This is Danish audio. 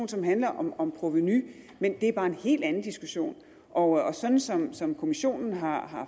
som handler om om provenu men det er bare en helt anden diskussion og sådan som som kommissionen har